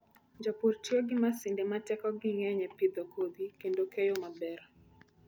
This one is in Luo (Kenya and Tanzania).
Jopur tiyo gi masinde ma tekogi ng'eny e pidho kodhi kendo keyo maber.